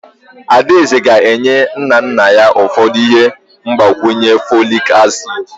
Adaeze ga-enye nna nna ya ụfọdụ ihe mgbakwunye folic acid.